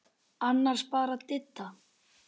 Annars bara Didda.